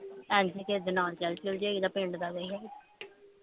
ਇੰਜ ਹੀ ਕਿਸੇ ਦੇ ਨਾਲ ਚੱਲ ਚੁਲ ਜਾਈਦਾ ਪਿੰਡ ਦਾ ਕੋਈ ਹੋਵੇ